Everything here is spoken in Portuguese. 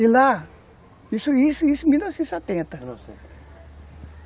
E lá, isso isso em mil novecentos e setenta, mil